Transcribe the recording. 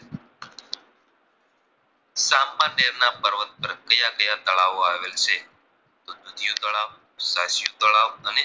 અને બે તળાવ આવેલ છે દુધિયું તળાવ, સાસ્યું તળાવ અને તેલીયું તળાવ